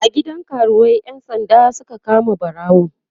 a gidan karuwai ƴan sanda Suka kama ɓarawon